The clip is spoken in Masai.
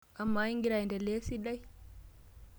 Amaa, ingira aendelea esidai?